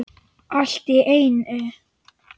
Allt í einu.